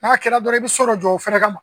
N'a kɛra dɔrɔn i be so dɔ jɔ o fɛnɛ kama